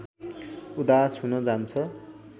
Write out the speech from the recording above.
उदास हुन जान्छ